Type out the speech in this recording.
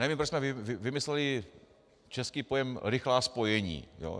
Nevím, proč jsme vymysleli český pojem rychlá spojení.